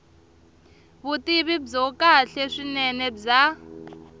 vutivi byo kahle swinene bya